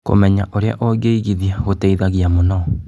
Kũmenya ũrĩa ũngĩigithia gũteithagia mũno.